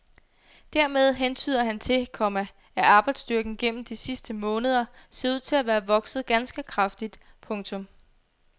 Dermed hentyder han til, komma at arbejdsstyrken gennem de sidste måneder ser ud til at være vokset ganske kraftigt. punktum